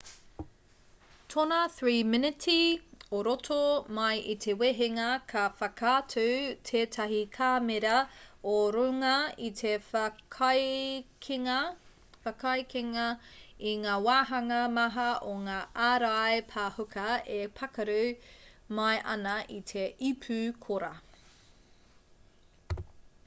tōna 3 miniti o roto mai i te wehenga ka whakaatu tētahi kāmera o runga i te whakaekenga i ngā wāhanga maha o ngā ārai pāhuka e pākaru mai ana i te ipu kora